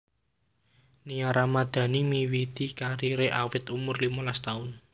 Nia Ramadhani miwiti kariré awit umur limolas taun